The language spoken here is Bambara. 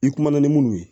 I kumana ni minnu ye